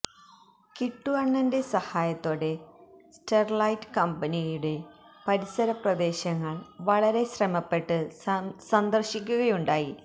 കിട്ടു അണ്ണന്റെ സഹായത്തോടെ സ്റ്റെര്ലൈറ്റ് കമ്പനിയുടെ പരിസരപ്രദേശങ്ങള് വളരെ ശ്രമപ്പെട്ട് സന്ദര്ശിക്കുകയുണ്ടായി